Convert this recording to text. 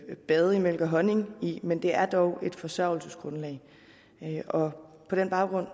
bade i mælk og honning i men det er dog et forsørgelsesgrundlag på den baggrund